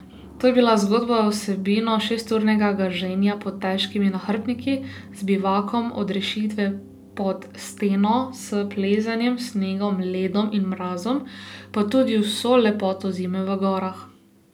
To je bila zgodba z vsebino šesturnega gaženja pod težkimi nahrbtniki, z bivakom odrešitve pod steno, s plezanjem, snegom, ledom in mrazom, pa tudi z vso lepoto zime v gorah.